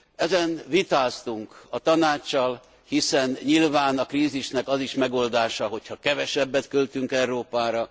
Ezen vitáztunk a Tanáccsal, hiszen nyilván a krízisnek az is megoldása, hogy ha kevesebbet költünk Európára.